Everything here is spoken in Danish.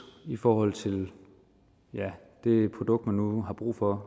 i forhold til det produkt man nu har brug for